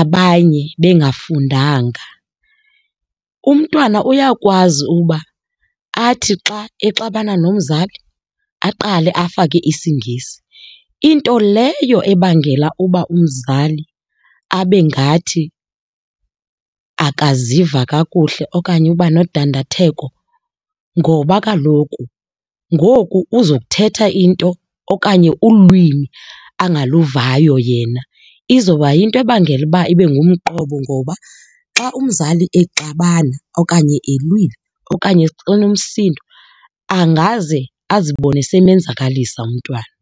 abanye bengafundanga, umntwana uyakwazi uba athi xa exabana nomzali aqale afake isiNgesi, into leyo ebangela uba umzali abe ngathi akaziva kakuhle okanye uba nodandatheko ngoba kaloku ngoku uzokuthetha into okanye ulwimi engaluvangayo yena. Izoba yinto ebangela uba ibe ngumqobo ngoba xa umzali exabana okanye ilweyile okanye enomsindo angaze azibone simenzakalisa umntwana.